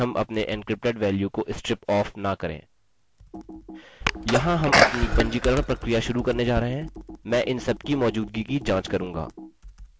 यहाँ हम अपनी पंजीकरण प्रक्रिया शुरू करने जा रहे हैं मैं इन सबकी मौजूदगी की जाँच करूँगा